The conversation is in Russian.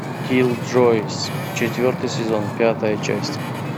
киллджойс четвертый сезон пятая часть